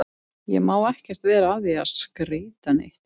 Ég má ekkert vera að því að skreyta neitt.